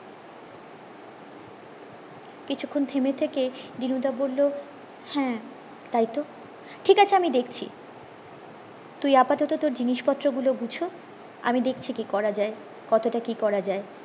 কিছুক্ষন থিম থেকে দিনুদা বললো হ্যাঁ তাইতো ঠিক আছে আমি দেখছি তুই আপাতত তোর জিনিস পত্র গুলো গুচা আমি দেখছি কি করা যায় কতোটা কি করা যায়